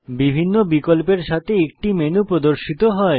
বিভিন্ন বিকল্পের সাথে একটি মেনু প্রর্দশিত হয়